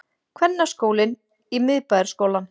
Kvennaskólinn í Miðbæjarskólann